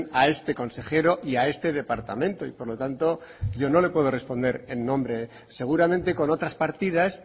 a este consejero y a este departamento y por lo tanto yo no le puedo responder en nombres seguramente con otras partidas